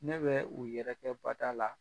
Ne bɛ u yɛrɛkɛ bada la.